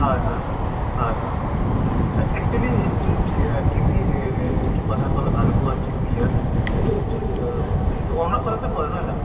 হয় হয় হয়, হয় actually এহ যিটো কথা কলা ভালুক্লুংৰ তাৰ নে, এইটো actually অহ যিটো আৰুণাচলতে পৰে নহয় জানো?